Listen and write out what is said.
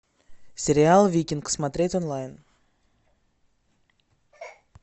сериал викинг смотреть онлайн